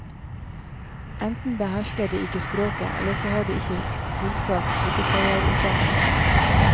Enten behersker de ikke språket, eller så har de ikke fullført sykepleierutdannelsen.